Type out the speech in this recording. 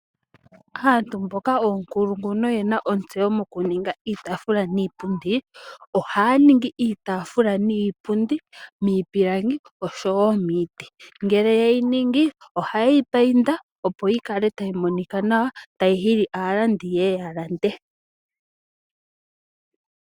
Aantu mboka oonkulungu noyena ontseyo mokuninga iitaafula niipundi, ohaya ningi iitaafula niipundi miipilangi oshowoo miiti. Ngele yeyi ningi ohayeyi mbambeke opo yikale tayi monika nawa, tayi hili aalandi yeye yalande.